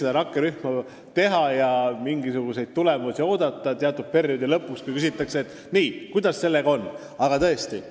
Mul tekib küsimus, kuidas saab rakkerühma töö tulemusi oodata juba enne teatud perioodi lõppu, kuidas saab juba praegu küsida: "Nii, kuidas sellega on?